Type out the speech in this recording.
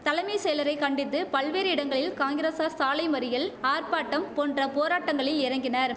தலைமை செயலரை கண்டித்து பல்வேறு இடங்களில் காங்கிரசார் சாலை மறியல் ஆர்ப்பாட்டம் போன்ற போராட்டங்களில் இறங்கினர்